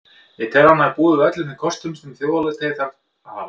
Ég tel að hann hafi búið yfir öllum þeim kostum sem þjóðarleiðtogi þarf að hafa.